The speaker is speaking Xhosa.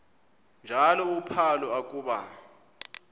njalo uphalo akuba